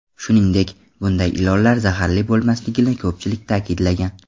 Shuningdek, bunday ilonlar zaharli bo‘lmasligini ko‘pchilik ta’kidlagan.